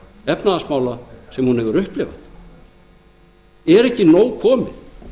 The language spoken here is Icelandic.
efnahagsmála sem hún hefur upplifað er ekki nóg komið